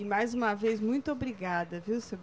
E mais uma vez, muito obrigada, viu seu